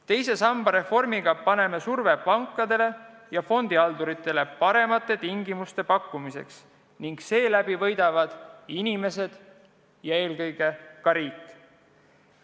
Teise samba reformiga avaldame pankadele ja fondihalduritele survet paremate tingimuste pakkumiseks ning seeläbi võidavad inimesed ja eelkõige ka riik.